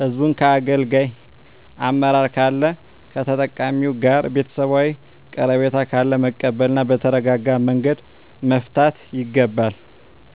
ህዝቡን አገልጋይ አመራር ካለ ከተጠቃሚዉ ጋር ቤተሰባዊ ቀረቤታ ካለ መቀበል እና በተረጋጋመንገድ መፍታት ይገባል